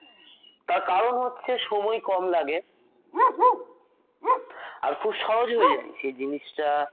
তার কারণ হচ্ছে সময় কম লাগে আর খুব সহজ হয়ে যায় জিনিসটা